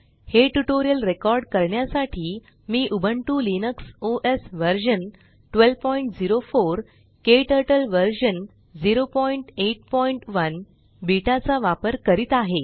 हे tutorial record करण्यासाठी मी Ubuntu Linux OS version 1204 KTurtle version 081 beta चा वापर करीत आहे